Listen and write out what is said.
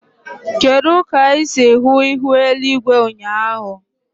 Kedu ka ị si hụ ihu eluigwe ụnyaahụ?